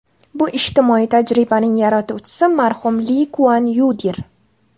Bu ijtimoiy tajribaning yaratuvchisi marhum Li Kuan Yudir.